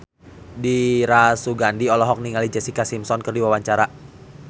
Dira Sugandi olohok ningali Jessica Simpson keur diwawancara